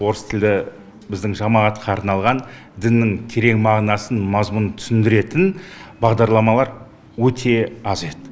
орыс тілді біздің жамағатқа арналған діннің терең мағынасын мазмұнын түсіндіретін бағдарламалар өте аз еді